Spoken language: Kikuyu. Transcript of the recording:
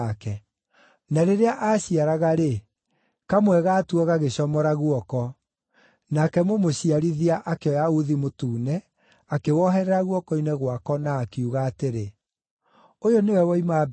Na rĩrĩa aaciaraga-rĩ, kamwe gatuo gagĩcomora guoko; nake mũmũciarithia akĩoya uthi mũtune, akĩwoherera guoko-inĩ gwako, na akiuga atĩrĩ, “Ũyũ nĩwe woima mbere.”